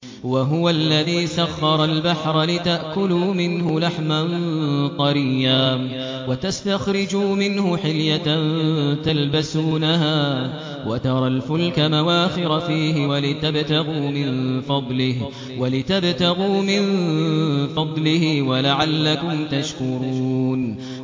وَهُوَ الَّذِي سَخَّرَ الْبَحْرَ لِتَأْكُلُوا مِنْهُ لَحْمًا طَرِيًّا وَتَسْتَخْرِجُوا مِنْهُ حِلْيَةً تَلْبَسُونَهَا وَتَرَى الْفُلْكَ مَوَاخِرَ فِيهِ وَلِتَبْتَغُوا مِن فَضْلِهِ وَلَعَلَّكُمْ تَشْكُرُونَ